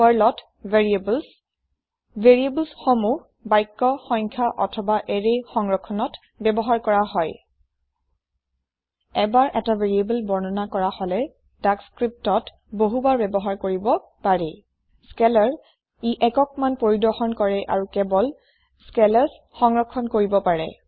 পাৰ্লত variables variables সমূহ বাক্য সংখ্য অথবা এৰে সংৰক্ষণত ব্যৱহাৰ কৰা হয় এবাৰ এটা ভেৰিয়েবল বৰ্ণনা কৰা হলে তাক লিপিত বহুবাৰ ব্যৱহাৰ কৰিব পাৰি Scalarএটাই একক মান পৰিদৰ্শন কৰে আৰু কেৱল স্কেলাৰ্ছ সংৰক্ষণ কৰিব পাৰে